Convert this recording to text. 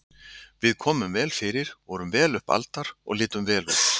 Við komum vel fyrir, vorum vel upp aldar og litum vel út.